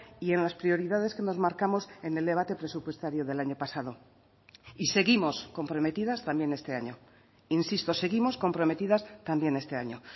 y en las prioridades que nos marcamos en el debate presupuestario del año pasado y seguimos comprometidas también este año insisto seguimos comprometidas también este año